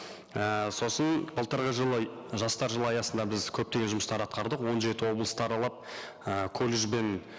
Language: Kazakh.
і сосын былтырғы жылы жастар жылы аясында біз көптеген жұмыстар атқардық он жеті облысты аралап і колледж бен